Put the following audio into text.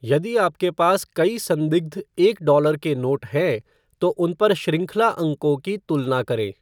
यदि आपके पास कई संदिग्ध एक डॉलर के नोट हैं, तो उन पर शृंखला अंकों की तुलना करें।